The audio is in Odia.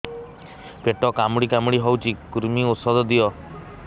ପେଟ କାମୁଡି କାମୁଡି ହଉଚି କୂର୍ମୀ ଔଷଧ ଦିଅ